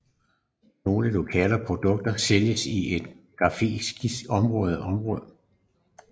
Nogle lokale produkter sælges i et geografisk begrænset område